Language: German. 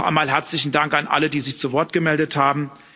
Noch einmal herzlichen Dank an alle, die sich zu Wort gemeldet haben.